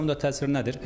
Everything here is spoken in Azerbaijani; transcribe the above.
Qısa müddət təsiri nədir?